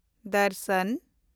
ᱫᱚᱨᱥᱚᱱ